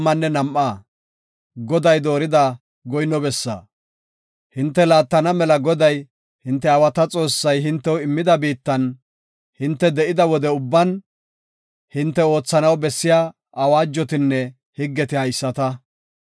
Hinte laattana mela Goday, hinte aawata Xoossay hintew immida biittan hinte de7ida wode ubban hinte oothanaw bessiya awaajotinne higgeti haysata.